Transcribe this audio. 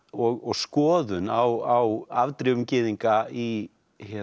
og skoðun á afdrifum gyðinga í